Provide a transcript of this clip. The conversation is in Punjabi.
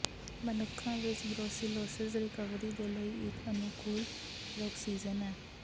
ਮਨੁੱਖਾਂ ਵਿੱਚ ਬਰੋਸੀਲੋਸਿਸ ਰਿਕਵਰੀ ਦੇ ਲਈ ਇੱਕ ਅਨੁਕੂਲ ਪ੍ਰੌਕਸੀਜ਼ਨ ਹੈ